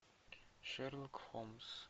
шерлок холмс